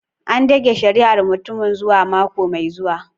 An dage shari'ar mutumin zuwa mako mai zuwa.